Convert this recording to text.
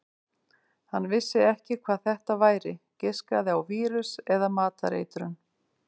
Hann vissi ekki hvað þetta væri, giskaði á vírus eða matareitrun.